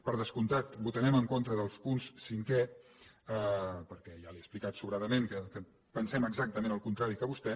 per descomptat votarem en contra del punt cinquè perquè ja li he explicat sobradament que pensem exactament el contrari que vostè